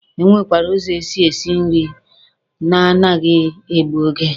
E nwekwara ụzọ e si esi nri na a naghị egbu oge.